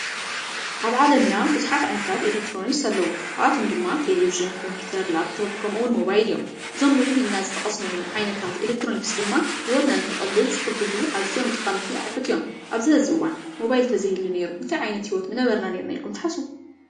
ኣብ ዓለምና ቡዙሓት ዓይነታት ኤሌክትሮኒክስ ኣለዉ፡፡ ካብኣቶም ድማ ቴለቭዥን፣ ከምፒተር፣ ላፕቶፕ ከምኡ እውን ሞባይል እዮም፡፡ እዞም ልዕል ኢሎም ዝጠቀስናዮም ዓይነታት ኤሌክትሮኒክስ ድማ ሂወትና ክቀልል ዝሕግዙ ኣዝዮም ጠቀምቲ ኣቁሕት እዮም፡፡ ኣብዚ ሕዚ እዋን ሞባይል እንተዘይ ይህሉ ነይሩ እንታይ ዓይነት ሂወት ምነበርና ኢልኩም ትሓስቡ?